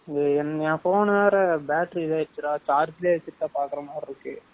என் phone வேற battery இதா ஆயிருச்சுடா charge லையே வச்சு பாக்குறமாதிரி இருக்கு.